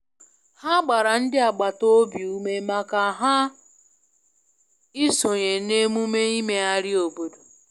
Ha gbara ndị agbata obi ume maka ha i sonye na emume imegharị obodo.